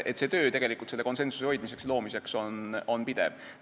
Nii et töö selle konsensuse hoidmiseks ja loomiseks on pidev.